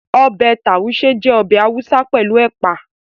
Ọbẹ̀ Tàúṣé jẹ́ ọbẹ̀ Haúsá pẹ̀lú Ẹ̀pà